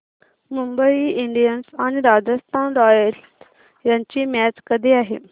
Mumbai Indians आणि Rajasthan Royals यांची match कधी आहे